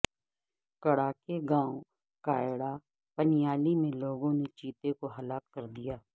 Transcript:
کڑہ کے گاوں کایڑہ پنیالی میں لوگوں نے چیتے کو ھلاک کر دیا